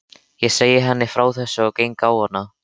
Ég segi henni frá þessu og geng á hana.